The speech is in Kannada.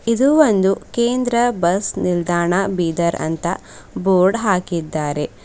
ಇದು ಒಂದು ಕೇಂದ್ರ ಬಸ್ ನಿಲ್ದಾಣ ಬೀದರ್ ಅಂತ ಬೋರ್ಡ್ ಹಾಕಿದ್ದಾರೆ.